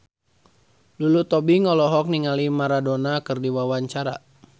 Lulu Tobing olohok ningali Maradona keur diwawancara